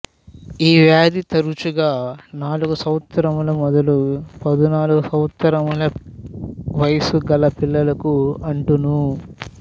ఈ వ్యాధి తరుచుగా నాలుగు సంవత్సరములు మొదలు పదునాలుగు సంవత్సరముల వయస్సుగల పిల్లలకు అంటును